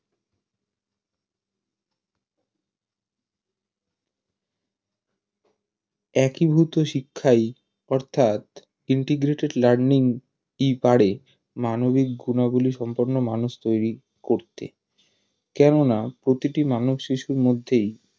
একীভূত শিক্ষা অর্থাৎ integrated learning পারে মানবিক গুনাবলী সম্পন্ন মানুষ তৈরি করতে কেননা প্রতিটি মানবশিশুর মধ্যেই